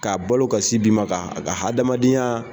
K'a balo ka sin di ma, ka ka hadamadenyaa.